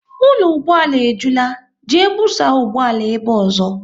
Ụlọ ụgbọala e jula, jee busa ụgbọala ebe ọzọ!